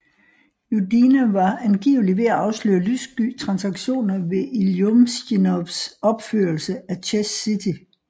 Judina var angiveligt ved at afsløre lyssky transaktioner ved Iljumsjinovs opførelse af Chess City